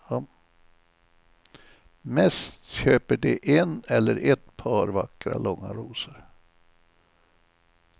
Mest köper de en eller ett par vackra, långa rosor.